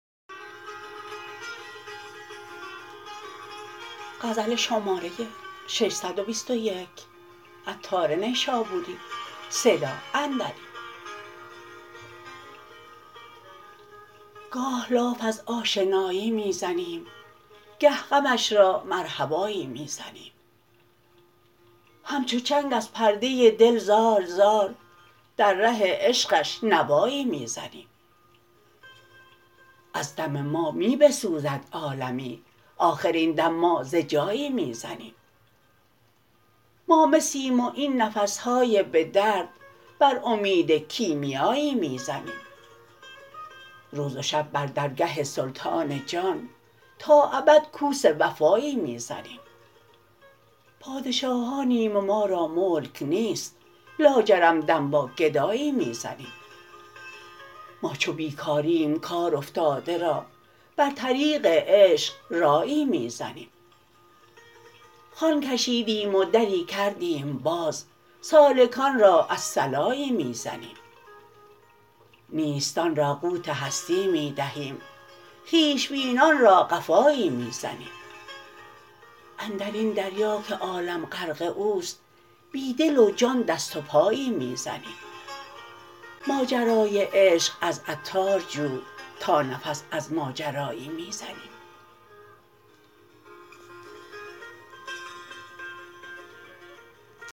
گاه لاف از آشنایی می زنیم گه غمش را مرحبایی می زنیم همچو چنگ از پرده دل زار زار در ره عشقش نوایی می زنیم از دم ما می بسوزد عالمی آخر این دم ما ز جایی می زنیم ما مسیم و این نفس های به درد بر امید کیمیایی می زنیم روز و شب بر درگه سلطان جان تا ابد کوس وفایی می زنیم پادشاهانیم و ما را ملک نیست لاجرم دم با گدایی می زنیم ما چو بیکاریم کار افتاده را بر طریق عشق رایی می زنیم خوان کشیدیم و دری کردیم باز سالکان را الصلایی می زنیم نیستان را قوت هستی می دهیم خویش بینان را قفایی می زنیم اندرین دریا که عالم غرق اوست بی دل و جان دست و پایی می زنیم ماجرای عشق از عطار جو تا نفس از ماجرایی می زنیم